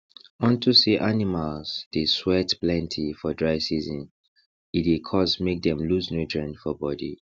unto say animals dey sweat plenty for dry season e dey cause make dem loose nutrients for body